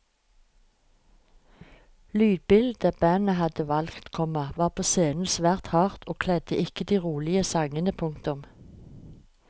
Lydbildet bandet hadde valgt, komma var på scenen svært hardt og kledde ikke de rolige sangene. punktum